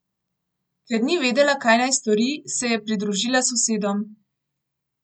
Ker ni vedela, kaj naj stori, se je pridružila sosedom.